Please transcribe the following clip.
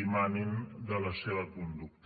dimanin de la seva conducta